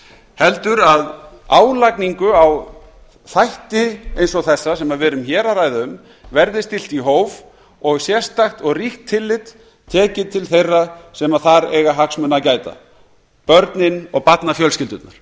heldur að álagningu á þætti eins og þessa sem við erum hér að ræða um verði stillt í hóf og sérstakt og ríkt tillit tekið til þeirra sem þar eiga hagsmuna að gæta börnin og barnafjölskyldurnar